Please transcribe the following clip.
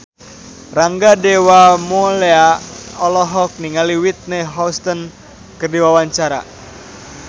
Rangga Dewamoela olohok ningali Whitney Houston keur diwawancara